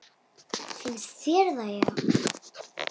Finnst þér það já.